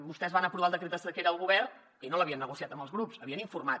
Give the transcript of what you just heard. vostès van aprovar el decret de sequera al govern i no l’havien negociat amb els grups n’havien informat